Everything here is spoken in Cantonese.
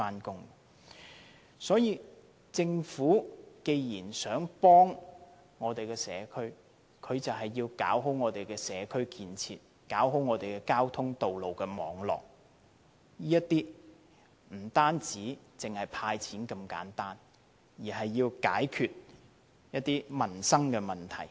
既然政府想幫助北區的居民，就要做好社區建設，做好交通道路網絡，不單是"派錢"那麼簡單，而是要解決民生的問題。